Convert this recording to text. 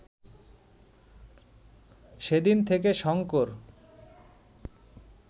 সেদিন থেকে শঙ্কর